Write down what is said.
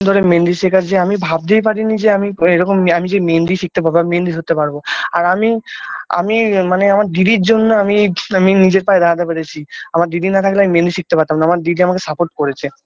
পরে মেহেন্দি শেখার যে আমি ভাবতেই পারি নি যে আমি এরকম আমি যে মেহেন্দি শিখতে পারবো আমি মেহেন্দি ধরতে পারবো আর আমি আমি মানে আমার দিদির জন্য আমি এই আমি নিজের পায়ে দাঁড়াতে পেরেছি আমার দিদি না থাকলে আমি মেহেন্দি শিখতে পারতাম না আমার দিদি আমাকে support করেছে।